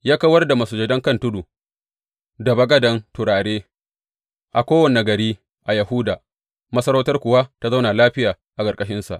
Ya kawar da masujadan kan tudu da bagadan turare a kowane gari a Yahuda, masarautar kuwa ta zauna lafiya a ƙarƙashinsa.